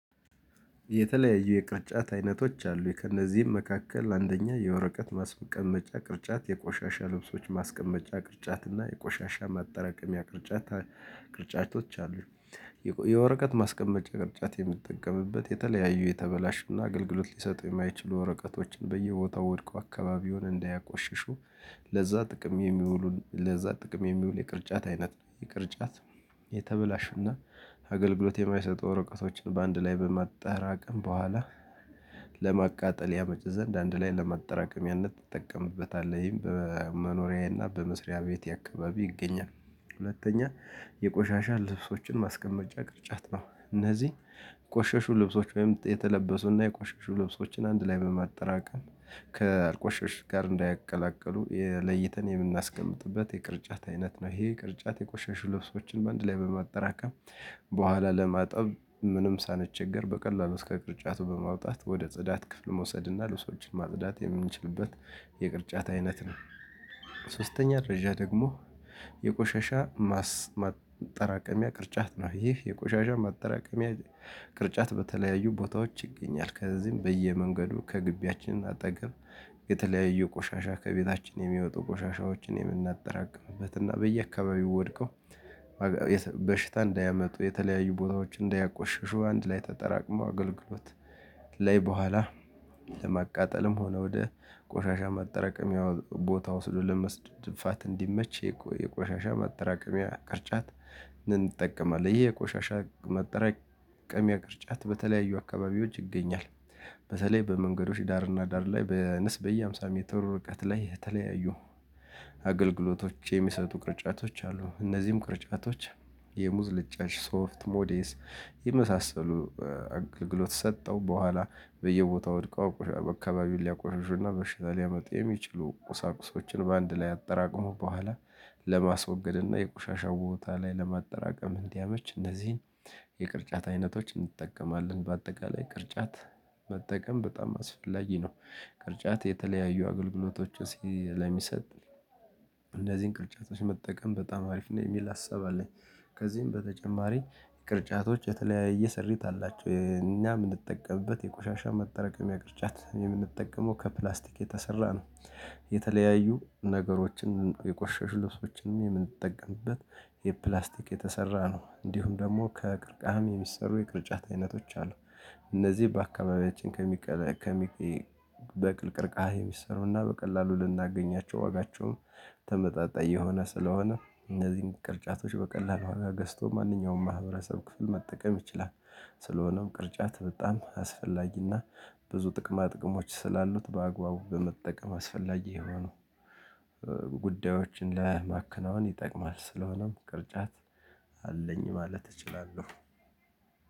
የተለያየ የቅርጫት አይነቶች አሉ ከእነዚህም መካከል አንደኛ የወረቀት ማስቀመጫ ቅርጫት የቆሻሻ ልብሶች ማስቀመጫ ቅርጫት እና የቆሻሻ ማጠራቀሚያ ቅርጫቶች አሉኝ። የወረቀት ማስቀመጫ ቅርጫት የሚጠቀምበት የተለያዩ የተበላሽና አገልግሎት ሊሰጡ የማይችሉ ወረቀቶችን በየቦታው ወድቆ አካባቢውን እንዳያቆሽሹ። ለዛ ጥቅም የሚውሉ ለዛ ጥቅም የሚውሉ የቅርጫት አይነት የቅርጫት የተበላሹና አገልግሎት የማይሰጡ ወረቀቶችን በአንድ ላይ በማጠራቀም በኋላ ለማቃጠል ያመች ዘንድ አንድ ላይ ለማጠራቀሚያነት እጠቀምበታለሁ ይሄም በመኖሪያዬና በመስሪያ ቤቴ አካባቢ ይገኛል። ሁለተኛ የቆሻሻ ልብሶችን ማስቀመጫ ቅርጫት ነው። እነዚህ የቆሸሹ ልብሶች ወይም የተለበሱና የቆሸሹ ልብሶችን አንድ ላይ በማጠራቀም ከአልቆሸሹ ጋር እንዳይቀላቅሉ ለይተን የምናስቀምጥበት የቅርጫት አይነት ነው። ይሄ ቅርጫት የቆሸሹ ልብሶችን በአንድ ላይ በማጠራቀም በኋላ ለማጠብ ምንም ሳንቸገር በቀላሉ እስከ ቅርጫቱ በማውጣት ወደ ጽዳት ክፍል መውሰድ እና ልብሶችን ማጽዳት የምንችልበት የቅርጫት አይነት ነው። ሶስተኛ ደረጃ ደግሞ የቆሻሻ ማስ ማጠራቀሚያ ቅርጫት ነው። ይህ የቆሻሻ ማጠራቀሚያ ቅርጫት በተለያዩ ቦታዎች ይገኛል ከዚህም በየመንገዱ ከግቢያችን አጠገብ። የተለያዩ ቆሻሻ ከቤታችን የሚወጡ ቆሻሻዎችን የምናጠራቅምበት እና በየአካባቢው ወድቀው በሽታ እንዳያመጡ የተለያዩ ቦታዎች እንዳያቆሽሹ አንድ ላይ ተጠራቅሞ አገልግሎት ላይ በኋላ ለማቃጠልም ሆነ ወደ ቆሻሻ ማጠረቀሚያው ቦታ ወስዶ ለማስድፋት እንዲመች የቆሻሻ ማጠራቀሚያ ቅርጫት። እንጠቀማለን ይሄ የቆሻሻ መጠራቅሚያ ቅርጫት በተለያዩ አካባቢዎች ይገኛል። በተለይ በመንገዶች ዳርና ዳር ላይ በ ቢያንስ በየ ሃምሳ ሜትር ርቀት ላይ የተለያዩ አገልግሎቶች የሚሰጡ ቅርጫቶች አሉ። እነዚህም ቅርጫቶች የሙዝ ልጣጭ ሶፍት ሞዴስ የመሳሰሉ አገልግሎት ሰጠው በኋላ በየቦታው ወድቀው በአካባቢው ሊያቆሸሹና በሽታ ሊያመጡ የሚችሉ ቁሳቁሶችን በአንድ ላይ አጠራቅሞ በኋላ ለማስወገድ እና የቁሻሻው ቦታ ላይ ለማጠራቀም እንዲያመች እነዚህን የቅርጫት አይነቶች እንጠቀማለን። በአጠቃላይ ቅርጫት መጠቀም በጣም አስፈላጊ ነው። ቅርጫት የተለያዩ አገልግሎቶችን ስለሚሰጥ እነዚህን ቅርጫቶች መጠቀም በጣም አሪፍ ነው የሚል ሀሳብ አለኝ። ከዚህም በተጨማሪ ቅርጫቶች የተለያየ ስሪት አላቸው እኛ ምንጠቀምበት የቆሻሻ መጠራቀምያ ቅርጫት የምንጠቀመው ከፕላስቲክ የተሰራ ነው። የተለያዩ ነገሮችን የቆሸሹ ልብሶችንም የምንጠቀምበት የፕላስቲክ የተሰራ ነው። እንዲሁም ደግሞ ከቀርቀሃም የሚሰሩ የቅርጫት አይነቶች አሉ። እነዚህ በአካባቢያችን ከሚ ከሚበቅል ቅርቃሄ የሚሰሩና በቀላሉ ልናገኛቸው ዋጋቸውም ተመጣጣኝ የሆነ ስለሆነ እነዚህን ቅርጫቶች በቀላሉ ዋጋ ገዝቶ ማንኛውም ማህበረሰብ ክፍል መጠቀም ይችላል። ስለሆነም ቅርጫት በጣም አስፈላጊና ብዙ ጥቅማ ጥቅሞች ስላሉት በአግባቡ በመጠቀም አስፈላጊ የሆኑ ጉዳዮችን ለማከናወን ይጠቅማል። ስለሆነም ቅርጫት አለኝ ማለት እችላለሁ